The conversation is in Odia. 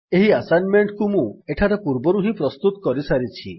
ଏହି ଆସାଇନମେଣ୍ଟ୍ କୁ ମୁଁ ଏଠାରେ ପୂର୍ବରୁ ହିଁ ପ୍ରସ୍ତୁତ କରିସାରିଛି